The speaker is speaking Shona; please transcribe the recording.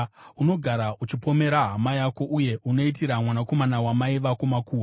Unogara uchipomera hama yako uye unoitira mwanakomana wamai vako makuhwa.